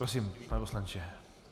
Prosím, pane poslanče.